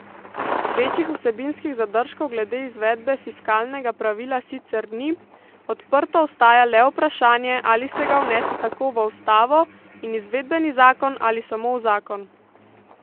Večjih vsebinskih zadržkov glede izvedbe fiskalnega pravila sicer ni, odprto ostaja le vprašanje, ali se ga vnese tako v ustavo in izvedbeni zakon ali samo v zakon.